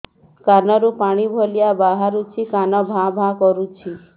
କାନ ରୁ ପାଣି ଭଳି ବାହାରୁଛି କାନ ଭାଁ ଭାଁ କରୁଛି